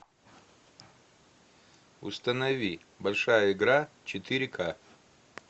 установи большая игра четыре ка